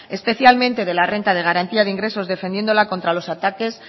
especialmente de la renta de garantía de ingresos defendiéndola contra los ataques